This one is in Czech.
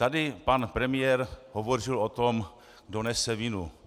Tady pan premiér hovořil o tom, kdo nese vinu.